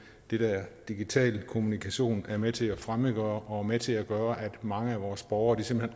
den der digitale kommunikation er med til at fremmedgøre og med til at gøre at mange af vores borgere simpelt